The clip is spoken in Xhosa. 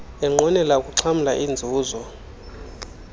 enqwenela ukuxhamla iinzuzo